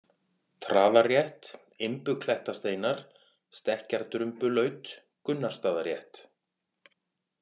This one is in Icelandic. Traðarrétt, Imbuklettasteinar, Stekkjardrumbulaut, Gunnarsstaðarétt